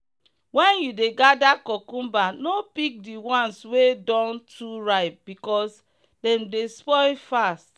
when you dey gather cucumber no pick the ones wey don too ripe because dem dey spoil fast.